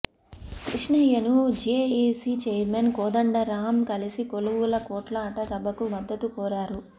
కృష్ణయ్యను JAC chairman Kodandaram కలిసి కొలువుల కొట్లాట సభకు మద్దతు కోరారు